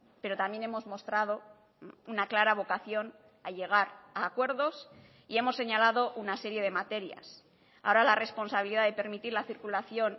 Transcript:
pero también hemos mostrado una clara vocación a llegar a acuerdos y hemos señalado una serie de materias ahora la responsabilidad de permitir la circulación